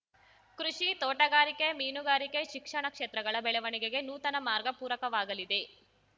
ಕೃಷಿ ತೋಟಗಾರಿಕೆ ಮೀನುಗಾರಿಕೆ ಶಿಕ್ಷಣ ಕ್ಷೇತ್ರಗಳ ಬೆಳವಣಿಗೆಗೆ ನೂತನ ಮಾರ್ಗ ಪೂರಕವಾಗಲಿದೆ